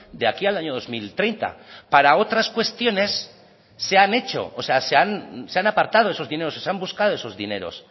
de aquí al año dos mil treinta para otras cuestiones se han hecho se han apartado esos dineros o se han buscado esos dineros